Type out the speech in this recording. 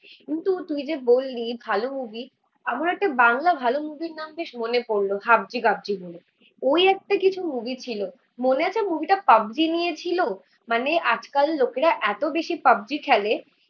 কিন্তু তুই যে বললি ভালো মুভি আমার একটা বাংলা ভালো মুভির নাম বেশ মনে পড়ল হাবজি গাবজি বলে. ওই একটা কিছু মুভি ছিল. মনে আছে মুভিটা পাবজি নিয়ে ছিল. মানে আজকাল লোকেরা এতো বেশি পাবজি খেলে